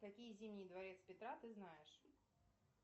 какие зимние дворец петра ты знаешь